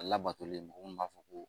A labatolen don munnu b'a fɔ ko